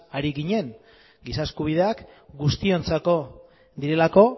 ari ginen giza eskubideak guztiontzako direlako